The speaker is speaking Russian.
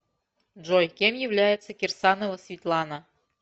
джой кем является кирсанова светлана